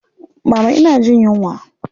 Mama ina jin yunwa.